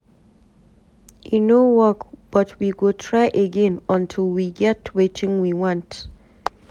E no work but we go try again until we get wetin we want.